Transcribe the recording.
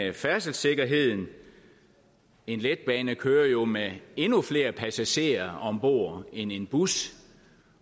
færdselssikkerheden en letbane kører jo med endnu flere passagerer ombord end en bus